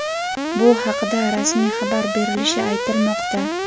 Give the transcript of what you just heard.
bu haqida rasmiy xabar berilishi aytilmoqda.